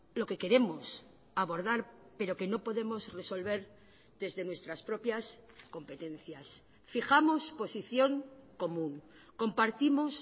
lo que queremos abordar pero que no podemos resolver desde nuestras propias competencias fijamos posición común compartimos